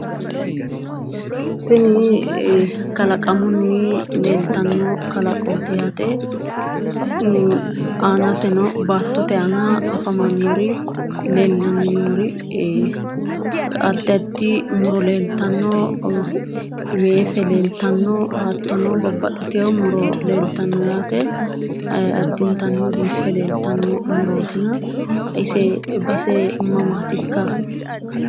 Tini kalaqamunni leeltawo kalaqooti yaate aanaseno baattote aana afamannor leellanni noori addi addi muro leeltanno, weese leeltanno, hattono babbaxitewo muro leeltanno yaate addintanni biife leeltanno murootina ise base mamaati ikka?